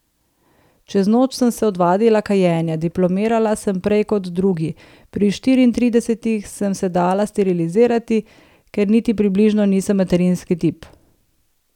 Čez noč sem se odvadila kajenja, diplomirala sem prej kot drugi, pri štiriintridesetih sem se dala sterilizirati, ker niti približno nisem materinski tip.